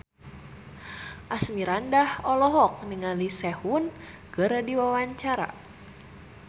Asmirandah olohok ningali Sehun keur diwawancara